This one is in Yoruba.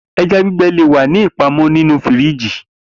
Eja ti o gbẹ le wa ni ipamọ ninu firiji